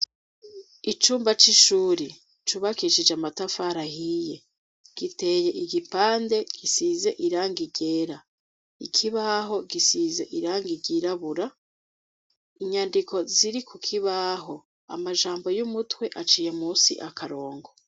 icumba c'ishuri cubakishije amatafara ahiye giteye igipande gisize irangi ryera ikibaho gisize irangi ryirabura inyandiko ziri ku kibaho amajambo y'umutwe aciye munsi akarongo.